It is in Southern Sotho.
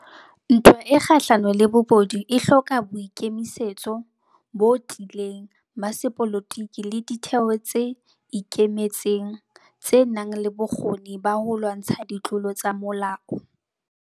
Ntwa e kgahlano le bobodu e hloka boikemisetso botiileng ba sepolotiki le ditheo tse ikemetseng, tsenang le bokgoni ba ho lwantsha ditlolo tsa molao.